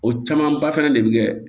O camanba fana de bɛ kɛ